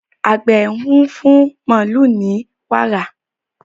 Àgbẹ̀ ń fún màlúù ní wàrà.